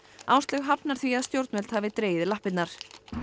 Áslaug hafnar því að stjórnvöld hafi dregið lappirnar